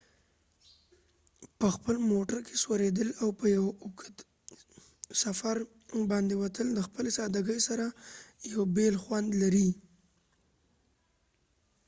په خپل موټر کې سوریدل او په یو اوږد سفر باندي وتل د خپلی سادګۍ سره یو بیل خوند لري